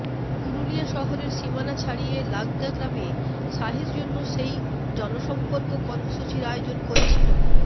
পুরুলিয়া শহরের সীমানা ছাড়িয়ে লাগদা গ্রামে শাহের জন্য সেই জনসম্পর্ক কর্মসূচির আয়োজন করেছিল